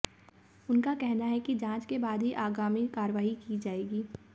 उनका कहना है कि जांच के बाद ही आगामी कार्रवाई की जाएगी